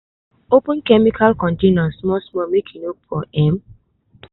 open chemical container small small make e no pour um